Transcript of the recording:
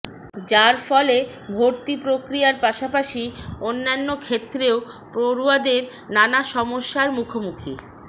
যার ফলে ভর্তি প্রক্রিয়ার পাশাপাশি অন্যান্য ক্ষেত্রেও পড়ুয়াদের নানা সমস্যার মুখোমুখি